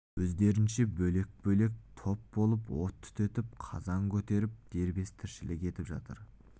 өздерінше бөлек-бөлек топ болып от түтетіп қазан көтеріп дербес тіршілік етіп жатыр